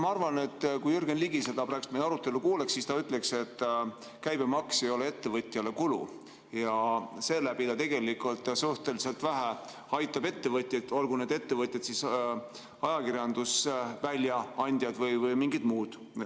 Ma arvan, et kui Jürgen Ligi meie praegust arutelu kuuleks, siis ta ütleks, et käibemaks ei ole ettevõtjale kulu ja seeläbi aitab neid tegelikult suhteliselt vähe, olgu need ettevõtjad ajakirjanduse väljaandjad või midagi muud.